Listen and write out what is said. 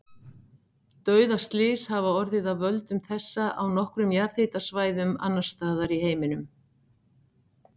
Dauðaslys hafa orðið af völdum þessa á nokkrum jarðhitasvæðum annars staðar í heiminum.